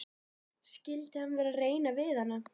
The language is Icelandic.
Skyldi hann vera að reyna við hana?